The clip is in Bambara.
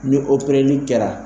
Ni opereli kɛra